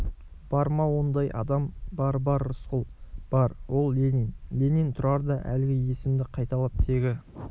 бар ма ондай адам бар-бар рысқұл бар ол ленин ленин тұрар да әлгі есімді қайталап тегі